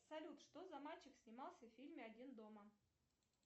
салют что за мальчик снимался в фильме один дома